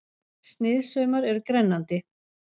Sniðsaumar eru grennandi